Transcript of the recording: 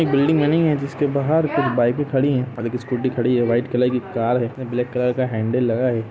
एक बिल्डिंग बनी है जिसके बहार कुछ बाइके खड़ी है और देखिए स्कूटी खड़ी है वाइट कलर की कार है जिस में ब्लैक कलर का हैंडल लगा है।